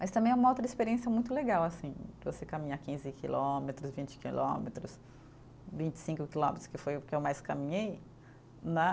Mas também é uma outra experiência muito legal, assim, você caminhar quinze quilômetros, vinte quilômetros, vinte e cinco quilômetros, que foi o que eu mais caminhei, né?